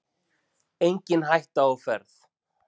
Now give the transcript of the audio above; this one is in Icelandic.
Engin hætta á ferð